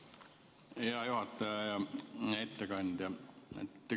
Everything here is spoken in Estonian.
Hea juhataja ja ettekandja!